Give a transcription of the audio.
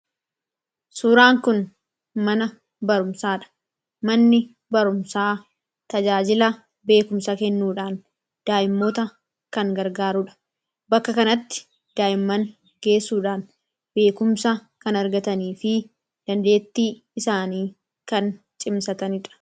Kan asirratti argaa jirru mana barumsaadha. Manni barumsaa kun faayidaa madaalamuu hin dandeenye fi bakka bu’iinsa hin qabne qaba. Jireenya guyyaa guyyaa keessatti ta’ee, karoora yeroo dheeraa milkeessuu keessatti gahee olaanaa taphata. Faayidaan isaa kallattii tokko qofaan osoo hin taane, karaalee garaa garaatiin ibsamuu danda'a.